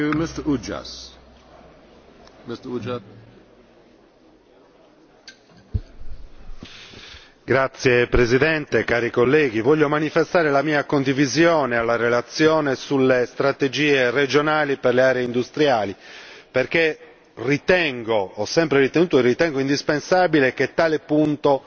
Signor Presidente, onorevoli colleghi, voglio manifestare il mio sostegno alla relazione sulle strategie regionali per le aree industriali, perché ho sempre ritenuto e ritengo indispensabile che tale punto